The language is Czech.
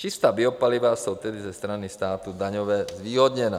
Čistá biopaliva jsou tedy ze strany státu daňově zvýhodněna.